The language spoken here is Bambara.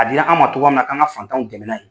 A di la an ma togoya min na k'an ka fantanw dɛmɛ n'a ye.